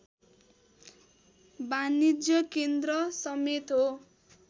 वाणिज्य केन्द्र समेत हो